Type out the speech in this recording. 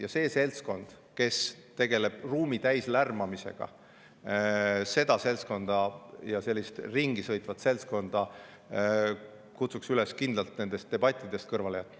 Ja seda seltskonda, kes tegeleb ruumi täis lärmamisega, ja sellist ringi sõitvat seltskonda kutsun üles kindlalt nendest debattidest kõrvale jätma.